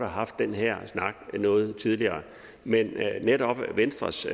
haft den her snak noget tidligere men netop venstres